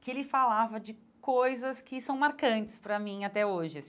que ele falava de coisas que são marcantes para mim até hoje.